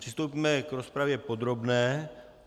Přistoupíme k rozpravě podrobné.